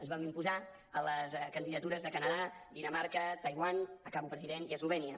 ens vam imposar a les candidatures de canadà dinamarca taiwan acabo president i eslovènia